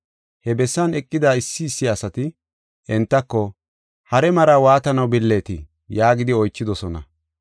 He bessan eqida issi issi asati entako, “Hare maraa waatanaw billeetii?” yaagidi oychidosona.